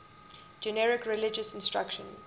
generic religious instruction